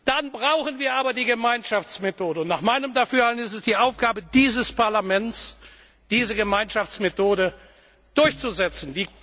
Dann brauchen wir aber die Gemeinschaftsmethode, und nach meinem Dafürhalten ist es die Aufgabe dieses Parlaments, diese Gemeinschaftsmethode durchzusetzen.